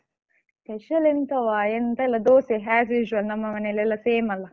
Special ಎಂತವ ಎಂತ ಇಲ್ಲ ದೋಸೆ as usual ನಮ್ಮ ಮನೆಯಲ್ಲಿ ಎಲ್ಲಾ same ಅಲ್ಲಾ.